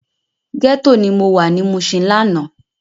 Gètó ni mó wá ni Mushin làná